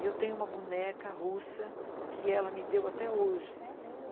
E eu tenho uma boneca russa que ela me deu até hoje. É mesmo?